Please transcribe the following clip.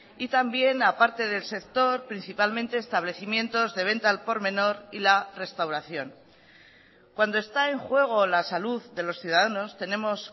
y también a parte del sector principalmente establecimientos de venta al por menor y la restauración cuando está en juego la salud de los ciudadanos tenemos